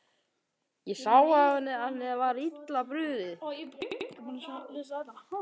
Ég sá á henni að henni var illa brugðið.